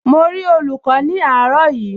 Mo rí olùkọ́ ní àárọ̀ yìí